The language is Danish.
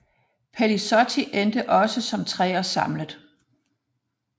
Pellizotti endte også som treer samlet